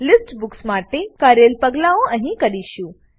list books માટે કરેલ પગલાઓ અહીં કરીશું